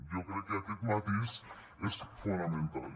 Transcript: jo crec que aquest matís és fonamental